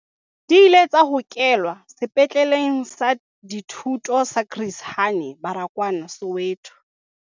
Di ile tsa hokelwa Sepetleleng sa Dithuto sa Chris Hani Baragwanath Soweto.